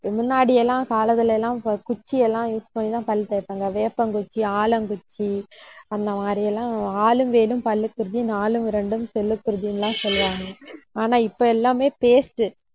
முன்னாடி எல்லாம் காலத்துல எல்லாம், குச்சி எல்லாம் use பண்ணிதான், பல் தேய்ப்பாங்க. வேப்பங்குச்சி, ஆலங்குச்சி அந்த மாதிரி எல்லாம் ஆலும் வேலும் பல்லுக்கு உறுதி, நாலும் இரண்டும் சொல்லுக்கு உறுதி எல்லாம் சொல்லுவாங்க. ஆனா இப்ப எல்லாமே paste